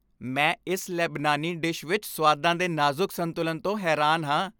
ਮੈਂ ਇਸ ਲੇਬਨਾਨੀ ਡਿਸ਼ ਵਿੱਚ ਸੁਆਦਾਂ ਦੇ ਨਾਜ਼ੁਕ ਸੰਤੁਲਨ ਤੋਂ ਹੈਰਾਨ ਹਾਂ।